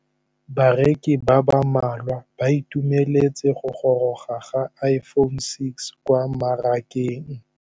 Bareki ba ba malwa ba ituemeletse go gôrôga ga Iphone6 kwa mmarakeng.